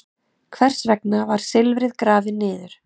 Hvers vegna var silfrið grafið niður?